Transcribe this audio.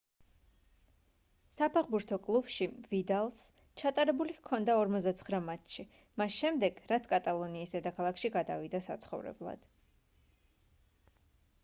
საფეხბურთო კლუბში ვიდალს ჩატარებული ჰქონდა 49 მატჩი მას შემდეგ რაც კატალონიის დედაქალაქში გადავიდა საცხოვრებლად